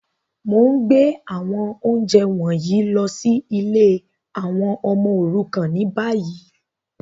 Mo n gbé àwọn ounjẹ wọ̀nyí lọ si ìlé àwon ọmọ òrukàn ni bayi.